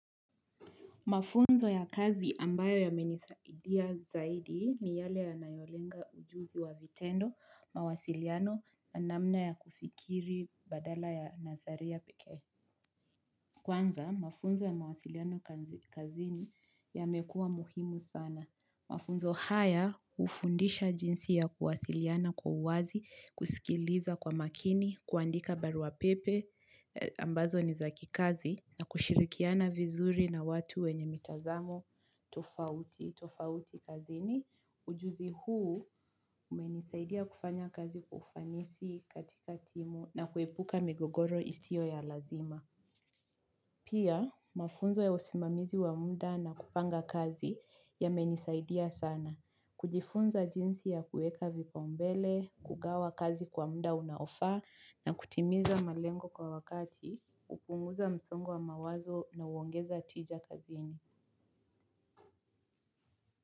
Mafunzo ya kazi ambayo yamenisaidia zaidi ni yale ya nayolenga ujuzi wa vitendo, mawasiliano, namna ya kufikiri badala ya natharia peke. Kwanza, mafunzo ya mawasiliano kazini yamekua muhimu sana. Mafunzo haya ufundisha jinsi ya kuwasiliana kwa huazi, kusikiliza kwa makini, kuandika barua pepe ambazo nizaki kazi na kushirikiana vizuri na watu wenye mitazamo tofauti. Tofauti kazini ujuzi huu umenisaidia kufanya kazi kwa ufanisi katika timu na kuepuka migogoro isiyo ya lazima. Pia, mafunzo ya usimamizi wa muda na kupanga kazi yamenisaidia sana. Kujifunza jinsi ya kueka vipa umbele, kugawa kazi kwa muda unaofaa na kutimiza malengo kwa wakati, upunguza msongo mawazo na uongeza tija kazini.